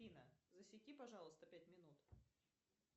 афина засеки пожалуйста пять минут